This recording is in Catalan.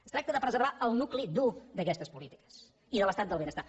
es tracta de preservar el nucli dur d’aquestes polítiques i de l’estat del benestar